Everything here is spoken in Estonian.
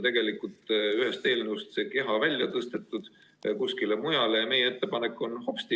Aga ühest eelnõust on see keha välja tõstetud ja kuskile mujale pandud ning meie ettepanek on hopsti!